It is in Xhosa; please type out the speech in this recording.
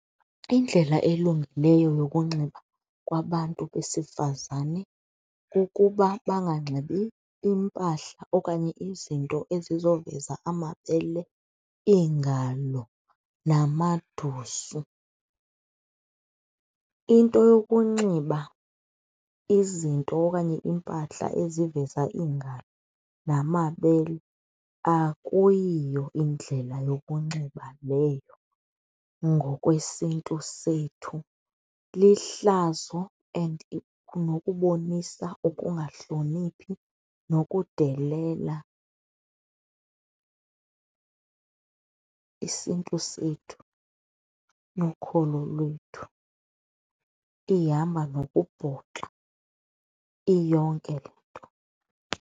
Indlela elungileyo yokunxiba kwabantu besifazane kukuba banganxibi iimpahla okanye izinto ezizoveza amabele, iingalo namadusu. Into yokunxiba izinto okanye iimpahla eziveza iingalo namabele akuyiyo indlela yokunxiba leyo ngokwesiNtu sethu, lihlazo and nokubonisa ukungahloniphi nokudelela isiNtu sethu nokholo lwethu, ihamba nokubhoxa iyonke le nto.